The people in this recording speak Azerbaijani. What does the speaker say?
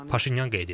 Paşinyan qeyd edib.